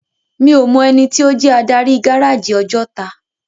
Mi ó mò èniti ó jè ádári gáráji Òjòtá